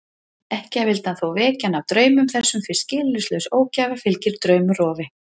Ekki vildi hann þó vekja hana af draumum þessum því skilyrðislaus ógæfa fylgir draumrofi.